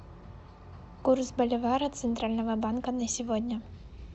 курс боливара центрального банка на сегодня